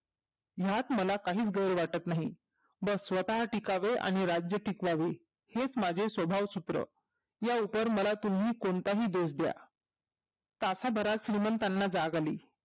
ह्यात मला काहीच गैर वाटत नाही बॅग स्वतः टिकावे आणि राज्य टिकवावे हेच माझे स्वभाव सूत्र या उपर मला तुम्ही कोणत्याही दोष द्या तासाभरात श्रीमंतांना जाग आली